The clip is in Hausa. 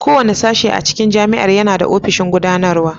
Kowane sashe a cikin Jami'ar yana da ofishin Gudanarwa.